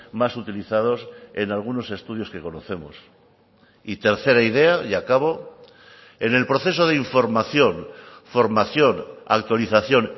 más utilizados en algunos estudios que conocemos y tercera idea y acabo en el proceso de información formación autorización